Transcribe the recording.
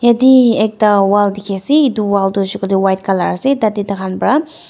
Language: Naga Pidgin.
yate ekta wall dikhi ase etu wall tu hoise koile White colour ase tah teh tai khan para--